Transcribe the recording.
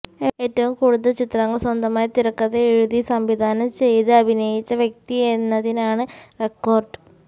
ഏറ്റവും കൂടുതല് ചിത്രങ്ങള് സ്വന്തമായി തിരക്കഥ എഴുതി സംവിധാനം ചെയ്ത് അഭിനയിച്ച വ്യക്തി എന്നതിനാണ് റെക്കോര്ഡ്